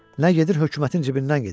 Nə gedir, hökumətin cibindən gedir.